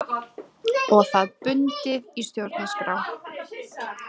Og það bundið í stjórnarskrá